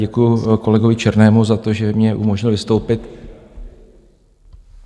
Děkuji kolegovi Černému za to, že mi umožnil vystoupit...